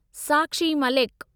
Sakshi Malik